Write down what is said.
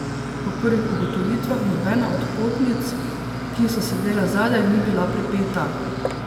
Po prvih ugotovitvah nobena od potnic, ki so sedele zadaj, ni bila pripeta.